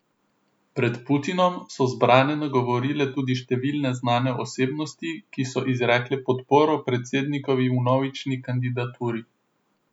Pred Putinom so zbrane nagovorile tudi številne znane osebnosti, ki so izrekle podporo predsednikovi vnovični kandidaturi.